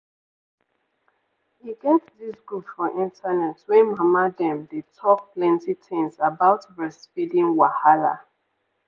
e get this group for internet wey mama dem dey talk plenty things about breastfeeding wahala.